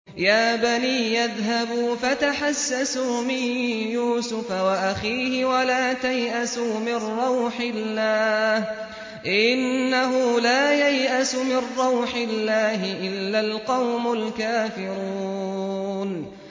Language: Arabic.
يَا بَنِيَّ اذْهَبُوا فَتَحَسَّسُوا مِن يُوسُفَ وَأَخِيهِ وَلَا تَيْأَسُوا مِن رَّوْحِ اللَّهِ ۖ إِنَّهُ لَا يَيْأَسُ مِن رَّوْحِ اللَّهِ إِلَّا الْقَوْمُ الْكَافِرُونَ